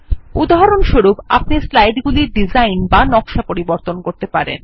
উদাহরণস্বরূপ আপনি স্লাইড গুলির ডিজাইন বা নকশা পরিবর্তন করতে পারেন